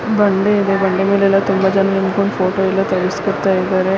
ಬಂಡೆಇದೆ ಬಂಡೇ ಮೇಲೆ ತುಂಬ ಜನ ನಿಂತ್ಕೊಂಡು ಫೋಟೋ ಎಲ್ಲ ತಾಗಿಸಿಕೊಳುತಿದ್ದರೆ.